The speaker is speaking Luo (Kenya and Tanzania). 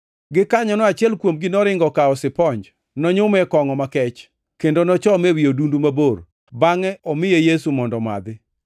Gikanyono achiel kuomgi noringo okawo siponj. Nonyume e kongʼo makech, kendo nochome ewi odundu mabor, bangʼe omiye Yesu mondo omadhi.